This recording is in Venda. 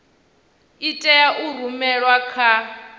i tea u rumelwa kha